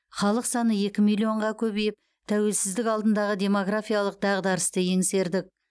халық саны екі миллионға көбейіп тәуелсіздік алдындағы демографиялық дағдарысты еңсердік